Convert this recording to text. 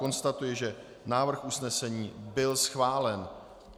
Konstatuji, že návrh usnesení byl schválen.